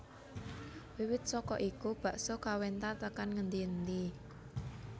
Wiwit saka iku bakso kawentar tekan ngendi endi